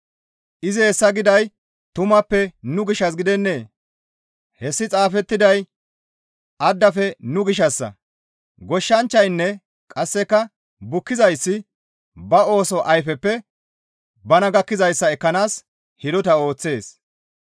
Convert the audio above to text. Izi hessa giday tumappe nu gishshas gidennee? Hessi xaafettiday addafe nu gishshassa; goshshanchchaynne qasseka bukkizayssi ba ooso ayfeppe bana gakkizayssa ekkanaas hidota ooththees.